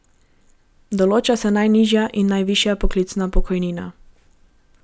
Določa se najnižja in najvišja poklicna pokojnina.